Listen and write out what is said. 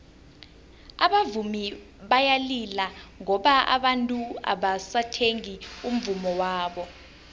abavumi bayalila ngoba abantu abasathengi umvummo wabo